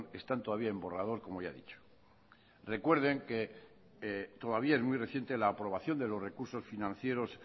están todavía en borrador como ya he dicho recuerden que todavía es muy reciente la aprobación de los recursos financieros